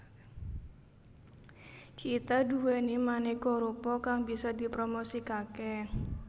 Kita duweni maneka rupa kang bisa dipromosikake